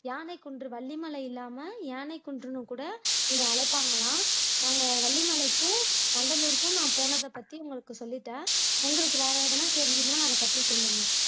யானைக்குன்று, வள்ளிமலை இல்லாம யானைக்குன்றுன்னுகூட இதை அழைப்பார்களாம் நாங்க வள்ளிமலைக்கும், வண்டலூருகும் நான் போனதைப்பத்தி உங்களுக்கு சொல்லிட்டேன் உங்களுக்கு வேற ஏதாவது தெரிஞ்சுதுன்னா அதைப்பத்தி சொல்லுங்க